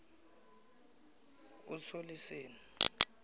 usoliseni